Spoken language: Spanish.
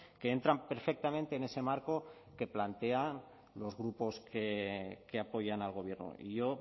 que entran perfectamente en ese marco que plantean los grupos que apoyan al gobierno y yo